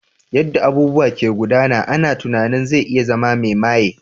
Yanda abubuwa ke gudana ina tunanin zai zama mai maye.